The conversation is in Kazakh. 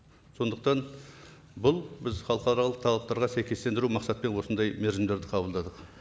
сондықтан бұл біз халықаралық талаптарға сәйкестендіру мақсатпен осындай мерзімдерді қабылдадық